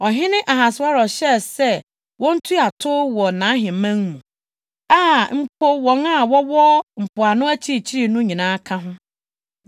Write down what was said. Ɔhene Ahasweros hyɛɛ sɛ wontua tow wɔ nʼaheman mu, a mpo wɔn a wɔwɔ mpoano akyirikyiri no nyinaa ka ho.